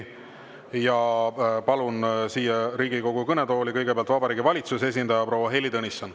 Ja palun siia Riigikogu kõnetooli kõigepealt Vabariigi Valitsuse esindaja proua Heili Tõnissoni.